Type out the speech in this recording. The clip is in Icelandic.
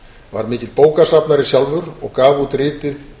var mikill bókasafnari sjálfur og gaf út ritið